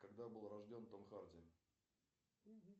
когда был рожден том харди